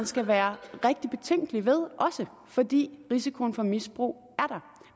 skal være rigtig betænkelig ved fordi risikoen for misbrug er der